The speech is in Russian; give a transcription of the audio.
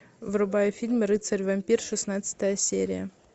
врубай фильм рыцарь вампир шестнадцатая серия